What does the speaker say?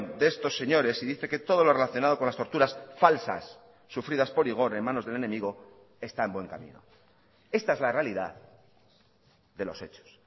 de estos señores y dice que todo lo relacionado con las torturas falsas sufridas por igor en manos del enemigo está en buen camino esta es la realidad de los hechos